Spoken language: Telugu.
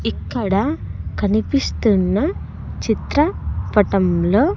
ఇక్కడ కనిపిస్తున్న చిత్రపటంలో.